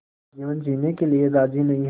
का जीवन जीने के लिए राज़ी नहीं हैं